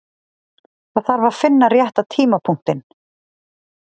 Það þarf að finna rétta tímapunktinn.